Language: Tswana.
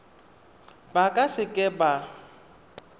ba ka se ka ba